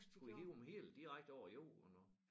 Skulle I hive dem hele direkte over jorden også